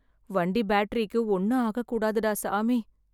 வண்டி பேட்டரிக்கு ஒன்னும் ஆகக் கூடாதுடா சாமி.